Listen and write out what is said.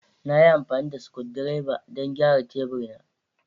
Na yi amfani da screwdriver don gyara tebur na.